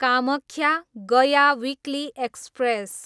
Kamakhya, Gaya weekly express